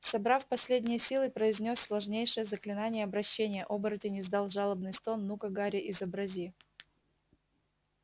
собрав последние силы произнёс сложнейшее заклинание обращения оборотень издал жалобный стон ну-ка гарри изобрази